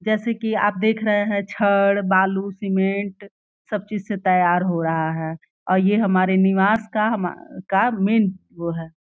जैसे कि आप देख रहे हैं कि छड़ बालू सीमेंट सब चीज से तैयार हो रहा है और ये हमारे निवास का हमा का मेन वो है।